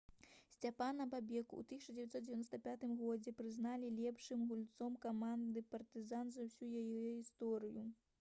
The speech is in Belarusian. сцяпана бобека ў 1995 годзе прызналі лепшым гульцом каманды «партызан» за ўсю яе гісторыю